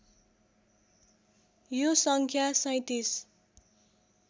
यो सङ्ख्या ३७